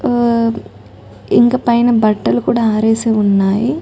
హో ఇంకా పైన బట్టలు కూడా ఆరేసి ఉన్నాయి.